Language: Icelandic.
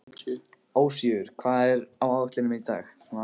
Ósvífur, hvað er á áætluninni minni í dag?